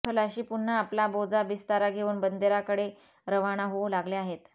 खलाशी पुन्हा आपला बोजा बिस्तारा घेवून बंदराकडे रवाना होऊ लागले आहेत